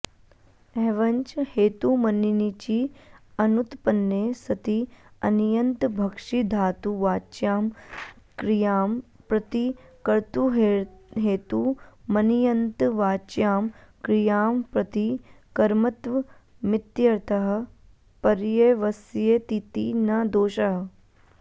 एवंच हेतुमण्णिचि अनुत्पन्ने सति अण्यन्तभक्षिधातुवाच्यां क्रियां प्रति कर्तुर्हेतुमण्ण्यन्तवाच्यां क्रियां प्रति कर्मत्वमित्यर्थः पर्यवस्यतीति न दोषः